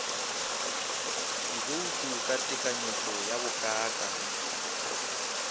dibouto ka tekanyetšo ya bokaakang